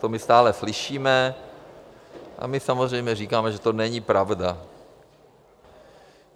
To my stále slyšíme a my samozřejmě říkáme, že to není pravda.